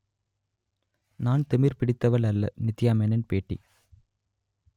நான் திமிர் பிடித்தவள் அல்ல நித்யா மேனன் பேட்டி